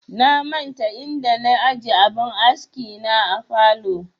Na manta inda na aje abin aski na a falow